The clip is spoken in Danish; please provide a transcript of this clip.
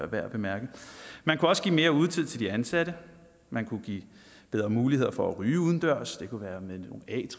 værd at bemærke man kunne også give mere udetid til de ansatte man kunne give bedre muligheder for at ryge udendørs det kunne være med